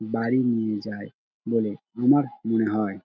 বাড়ি নিয়ে যায় বলে আমার মনে হয় |